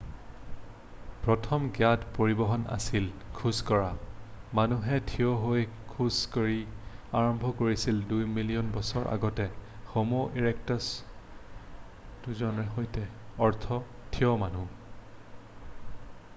প্ৰথম জ্ঞাত পৰিবহণ আছিল খোজ কঢ়া মানুহে ঠিয় হৈ খোজ কঢ়িব আৰম্ভ কৰিছিল দুই মিলিয়ন বছৰ আগতে হʼমʼ ইৰেক্টাছৰ উত্থানৰ সৈতে অৰ্থ ঠিয় মানুহ।